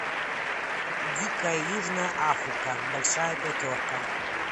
дикая южная африка большая пятерка